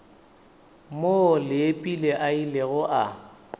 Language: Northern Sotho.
moo leepile a ilego a